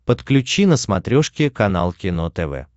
подключи на смотрешке канал кино тв